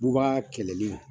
Bubaa kɛlɛli